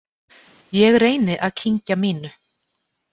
Ég reyni að kyngja mínu.